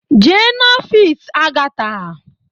Jee n'ọfịs Agatha!